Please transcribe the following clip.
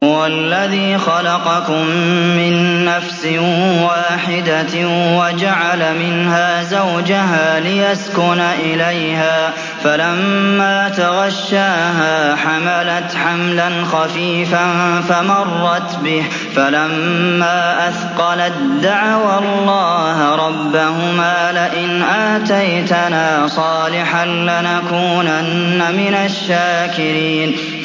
۞ هُوَ الَّذِي خَلَقَكُم مِّن نَّفْسٍ وَاحِدَةٍ وَجَعَلَ مِنْهَا زَوْجَهَا لِيَسْكُنَ إِلَيْهَا ۖ فَلَمَّا تَغَشَّاهَا حَمَلَتْ حَمْلًا خَفِيفًا فَمَرَّتْ بِهِ ۖ فَلَمَّا أَثْقَلَت دَّعَوَا اللَّهَ رَبَّهُمَا لَئِنْ آتَيْتَنَا صَالِحًا لَّنَكُونَنَّ مِنَ الشَّاكِرِينَ